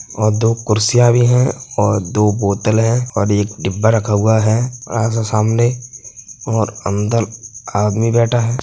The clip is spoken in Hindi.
और दो कुर्सियाँ भी हैं और दो बोतल हैं। एक डिब्बा रखा हुआ है बड़ा सा सामने और अंदर आदमी बैठा है।